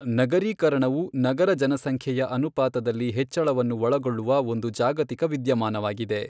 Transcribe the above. ನಗರೀಕರಣವು ನಗರಜನಸಂಖ್ಯೆಯ ಅನುಪಾತದಲ್ಲಿ ಹೆಚ್ಚಳವನ್ನು ಒಳಗೊಳ್ಳುವ ಒಂದು ಜಾಗತಿಕ ವಿದ್ಯಮಾನವಾಗಿದೆ.